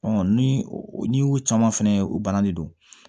ni y'o caman fɛnɛ ye o bananen don